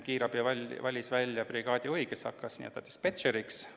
Kiirabi valis välja brigaadijuhi, kes hakkas n-ö dispetšeriks.